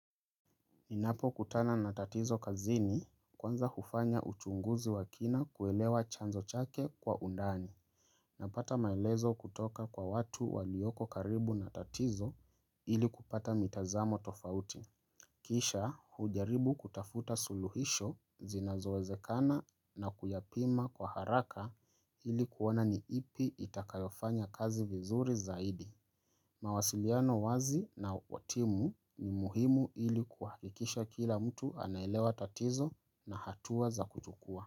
Ninapo kutana na tatizo kazini kwanza hufanya uchunguzi wakina kuelewa chanzo chake kwa undani napata maelezo kutoka kwa watu walioko karibu na tatizo ili kupata mitazamo tofauti. Kisha hujaribu kutafuta suluhisho zinazowezekana na kuyapima kwa haraka ili kuona niipi itakayofanya kazi vizuri zaidi. Mawasiliano wazi na watimu ni muhimu ili kuhakikisha kila mtu anaielewa tatizo na hatua za kujukuwa.